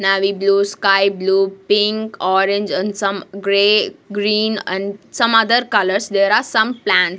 navy blue sky blue pink orange and some grey green and some other colours there are some plan--